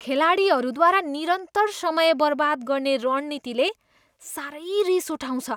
खेलाडीहरूद्वारा निरन्तर समय बर्बाद गर्ने रणनीतिले साह्रै रिस उठाउँछ।